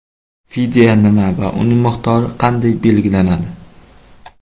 Fidya nima va uning miqdori qanday belgilanadi?.